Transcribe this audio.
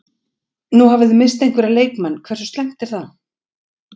Nú hafi þið misst einhverja leikmenn, hversu slæmt er það?